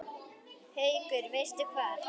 Haukur: Veistu hvar?